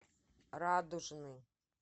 радужный